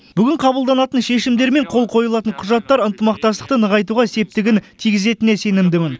бүгін қабылданатын шешімдер мен қол қойылатын құжаттар ынтымақтастықты нығайтуға септігін тигізетініне сенімдімін